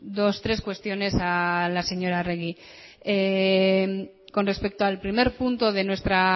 dos tres cuestiones a la señora arregi con respecto al primer punto de nuestra